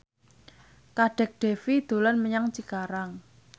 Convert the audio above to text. Kadek Devi dolan menyang Cikarang